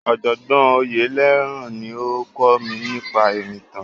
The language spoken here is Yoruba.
Ọ̀jọ̀gbọ́n Oyelaran ni ó kọ́ mi nípa ìrìntàn.